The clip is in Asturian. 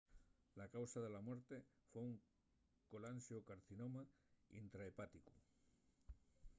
la causa de la muerte foi un colanxocarcinoma intrahepáticu